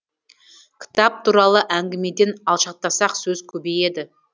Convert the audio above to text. кітап туралы әңгімеден алшақтасақ сөз көбейеді